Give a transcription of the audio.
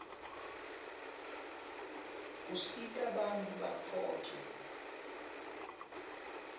usita bantfu batfoce umsebeit